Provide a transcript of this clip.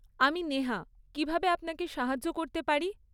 আমি নেহা, কীভাবে আপনাকে সাহায্য করতে পারি?